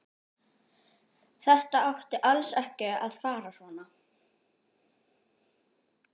Þetta átti alls ekki að fara svona.